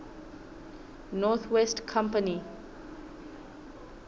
north west company